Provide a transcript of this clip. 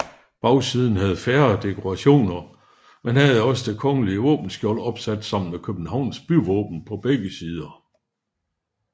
Bagsiden havde færre dekorationer men havde også det kongelige våbenskjold opsat sammen med Københavns byvåben på begge sider